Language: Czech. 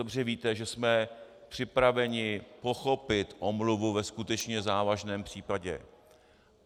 Dobře víte, že jsme připraveni pochopit omluvu ve skutečně závažném případě.